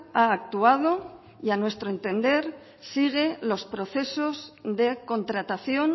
ha actuado y a nuestro entender sigue los procesos de contratación